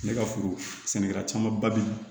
Ne ka furu sɛnɛla caman ba bi